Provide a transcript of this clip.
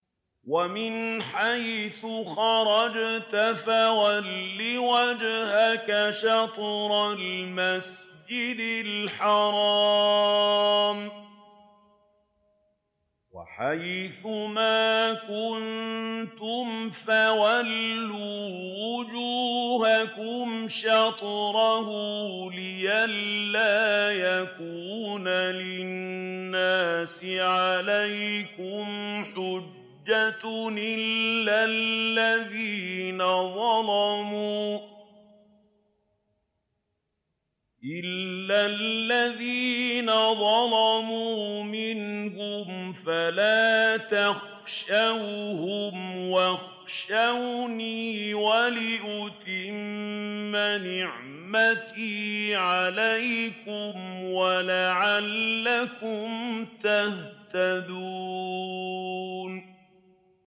وَمِنْ حَيْثُ خَرَجْتَ فَوَلِّ وَجْهَكَ شَطْرَ الْمَسْجِدِ الْحَرَامِ ۚ وَحَيْثُ مَا كُنتُمْ فَوَلُّوا وُجُوهَكُمْ شَطْرَهُ لِئَلَّا يَكُونَ لِلنَّاسِ عَلَيْكُمْ حُجَّةٌ إِلَّا الَّذِينَ ظَلَمُوا مِنْهُمْ فَلَا تَخْشَوْهُمْ وَاخْشَوْنِي وَلِأُتِمَّ نِعْمَتِي عَلَيْكُمْ وَلَعَلَّكُمْ تَهْتَدُونَ